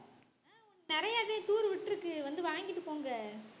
அஹ் நிறையதான் தூர்விட்டு இருக்கு வந்து வாங்கிட்டு போங்க